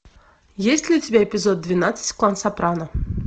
есть ли у тебя эпизод двенадцать клан сопрано